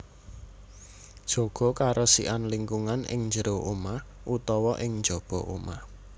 Jaga karesikan lingkungan ing jero omah utawa ing njaba omah